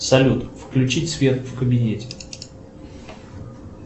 салют включить свет в кабинете